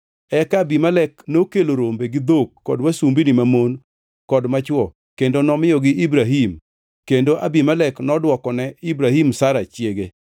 Eka Abimelek nokelo rombe gi dhok kod wasumbini mamon kod machwo kendo nomiyogi Ibrahim kendo Abimelek nodwokone Ibrahim Sara chiege.